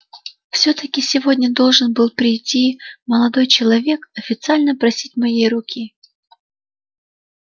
всё-таки сегодня должен был прийти молодой человек официально просить моей руки